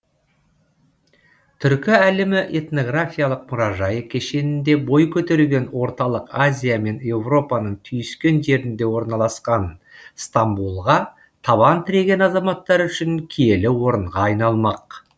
түркі әлемі этнографиялық мұражайы кешенінде бой көтерген орталық азия мен еуропаның түйіскен жерінде орналасқан стамбулға табан тіреген азаматтар үшін киелі орынға айналмақ